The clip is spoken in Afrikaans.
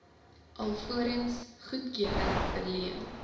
alvorens goedkeuring verleen